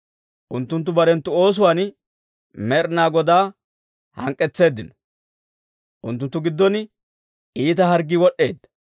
Unttunttu barenttu oosuwaan Med'inaa Godaa hank'k'etseeddino; unttunttu giddon iita harggii wod'd'eedda.